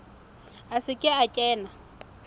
a se ke a kena